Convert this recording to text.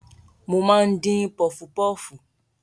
Mo máa ń dín pọfupọfu.